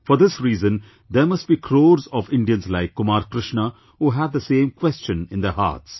For this reason there must be crores of Indians like Kumar Krishna who have the same question in their hearts